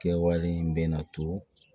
Kɛwale in bɛ na to